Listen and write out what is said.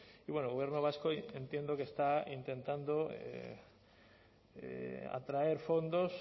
y el gobierno vasco entiendo que está intentando atraer fondos